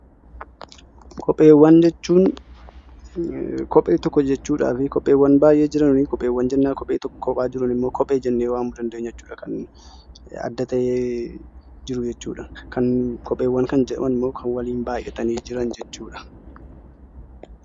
Kopheewwan jechuun kophee tokko jechuu fi kopheewwan baay'ee jiran immoo kophee jennee waamuu dandeenya. Kopheewwan kan jedhaman immoo kan waliin baay'atanii jiran jechuudha